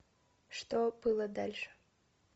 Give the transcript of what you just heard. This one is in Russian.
что было дальше